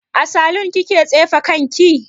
A salun kika tsefe kanki?